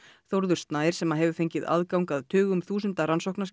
Þórður Snær sem hefur fengið aðgang að tugum þúsunda